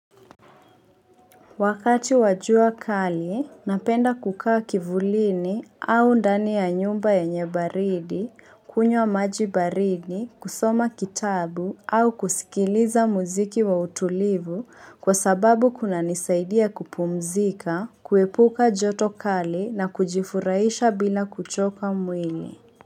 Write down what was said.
Wakati wa jua kali, napenda kukaa kivulini au ndani ya nyumba ya nyenye baridi, kunywa maji baridi, kusoma kitabu au kusikiliza muziki wa utulivu kwa sababu kuna nisaidia kupumzika, kuepuka joto kali na kujifurahisha bila kuchoka mwili.